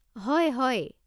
হয় হয়।